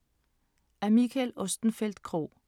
Af Mikael Ostenfeld Krog